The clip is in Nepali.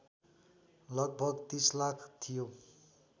लगभग ३० लाख थियो